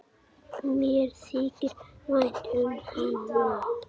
Mér þykir vænt um hana.